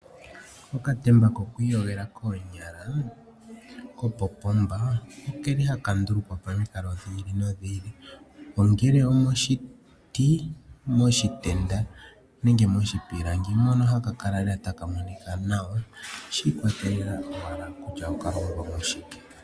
Okàtemba kokwiiyogela koonyala kopo pomba ohaka ndulukwapo momikalo dhi ili nodhi ili ongele omoshiti, omoshitenda nenge moshipilangi mono haka kala taka monika nawa shi ikwatelela kutya okalongwa moshike.